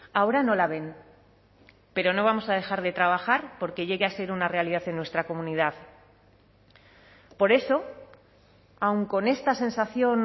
ahora no la ven pero no vamos a dejar de trabajar por que llegue a ser una realidad en nuestra comunidad por eso aun con esta sensación